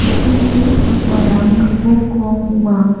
turini pakmarang gipok rong ong·a.